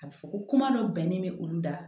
A bɛ fɔ ko kuma dɔ bɛnnen bɛ olu da